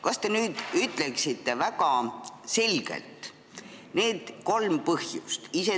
Kas te nüüd ütleksite väga selgelt need kolm põhjust?